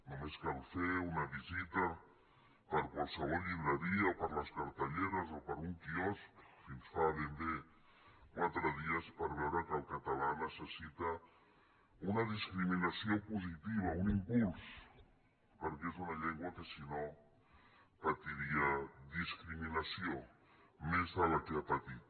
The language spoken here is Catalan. només cal fer una visita per qualsevol llibreria o per les cartelleres o per un quiosc fins fa ben bé quatre dies per veure que el català necessita una discriminació positiva un impuls perquè és una llengua que si no patiria discriminació més de la que ja ha patit